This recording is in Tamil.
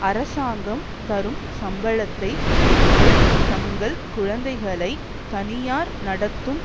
அரசாங்கம் தரும் சம்பளத்தை பெற்று தங்கள் குழந்தைகளை தனியார் நடத்தும்